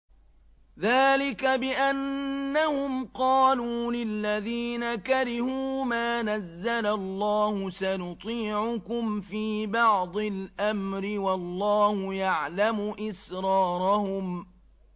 ذَٰلِكَ بِأَنَّهُمْ قَالُوا لِلَّذِينَ كَرِهُوا مَا نَزَّلَ اللَّهُ سَنُطِيعُكُمْ فِي بَعْضِ الْأَمْرِ ۖ وَاللَّهُ يَعْلَمُ إِسْرَارَهُمْ